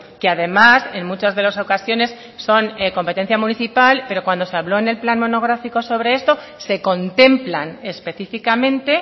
que además en muchas de las ocasiones son competencia municipal pero cuando se habló en el plan monográfico sobre esto se contemplan específicamente